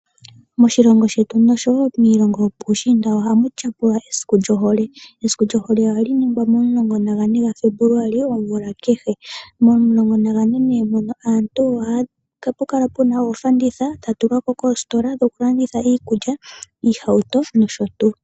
Moshilongo shetu, nosho wo miilongo yopuushiinda ohamu tyapulwa esiku lyohole. Esiku lyohole ohali ningwa momulongo nagane gaFebuluali omvula kehe. Momulongo nagane mono, ohapu kala pu na oofanditha dha tulwa po koositola dhokulanditha iikulya iihauto nosho tuu.